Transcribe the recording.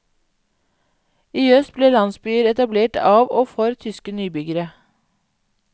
I øst ble landsbyer etablert av og for tyske nybyggere.